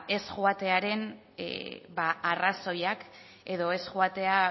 ez joatearen arrazoiak edo ez joatea